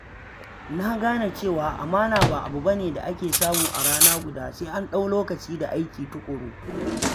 Na gane cewa amana ba abu ba ne da ake samu a rana guda, sai an ɗau lokaci da aiki tuƙuru.